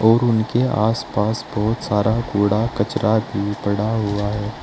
और उनके आसपास बहुत सारा कूड़ा कचरा भी पड़ा हुआ है।